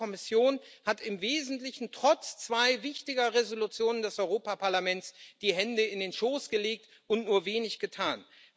Die alte Kommission hat im Wesentlichen, trotz zweier wichtiger Entschließungen des Europäischen Parlaments, die Hände in den Schoß gelegt und nur wenig getan.